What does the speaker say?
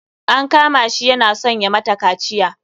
An kama shi yana son ya mata kaciya.